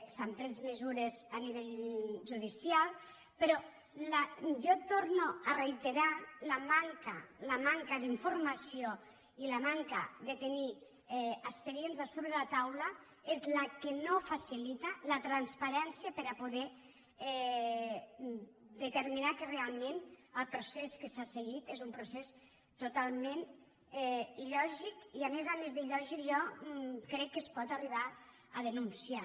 s’han pres mesures a nivell judicial però jo torno a re·iterar la manca d’informació i la manca de tenir expe·dients a sobre la taula és la que no facilita la transpa·rència per a poder determinar que realment el procés que s’ha seguit és un procés totalment ila més d’il·lògic jo crec que es pot arribar a denunciar